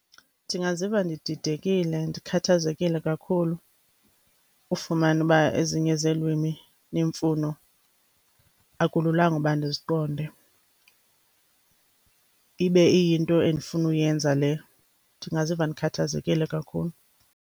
Ndingaziva ndididekile, ndikhathazekile kakhulu ufumana uba ezinye zeelwimi neemfuno akululanga uba ndiziqonde ibe iyinto endifunuyenza leyo. Ndingaziva ndikhathazekile kakhulu.